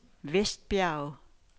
Vestbjerg